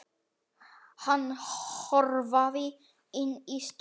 Hann hörfaði inn í stofu.